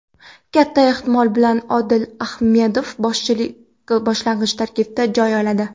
Katta ehtimol bilan Odil Ahmedov boshlang‘ich tarkibdan joy oladi.